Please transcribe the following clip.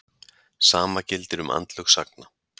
Sama gildir um andlög sagna.